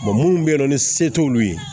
munnu bɛ yen nɔ ni se t'olu ye